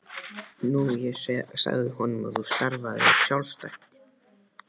Nú ég sagði honum að þú starfaðir sjálfstætt.